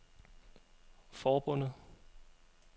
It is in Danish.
forbundet